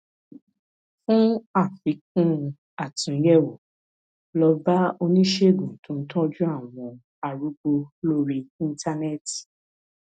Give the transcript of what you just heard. fún àfikún àtúnyẹwò lọ bá oníṣègùn tó ń tọjú àwọn arúgbó lórí íńtánẹẹtì